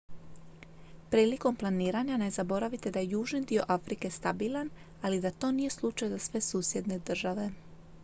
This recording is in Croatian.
prilikom planiranja ne zaboravite da je južni dio afrike stabilan ali i da to nije slučaj za sve susjedne države